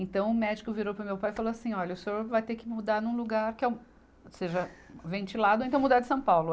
Então o médico virou para o meu pai e falou assim, olha, o senhor vai ter que mudar num lugar que é seja ventilado, ou então mudar de São Paulo.